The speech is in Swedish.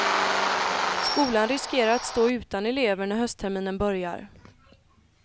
Skolan riskerar att stå utan elever när höstterminen börjar.